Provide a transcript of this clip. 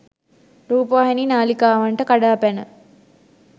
රූපවාහිනී නාලිකාවන්ට කඩා පැන